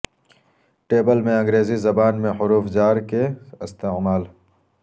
table میں انگریزی زبان میں حروف جار کے استعمال